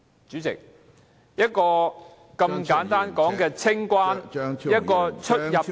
主席，一個如此簡單的清關、出入境......